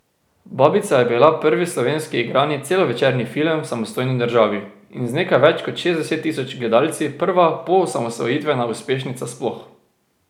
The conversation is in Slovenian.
Babica je bila prvi slovenski igrani celovečerni film v samostojni državi in z nekaj več kot šestdeset tisoč gledalci prva poosamosvojitvena uspešnica sploh.